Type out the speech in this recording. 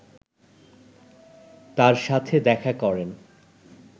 তার সাথে দেখা করেন